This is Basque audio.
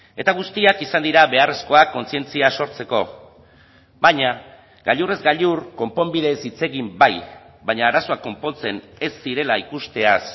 eta guztiak izan dira beharrezkoak kontzientzia sortzeko baina gailurrez gailur konponbideez hitz egin bai baina arazoa konpontzen ez zirela ikusteaz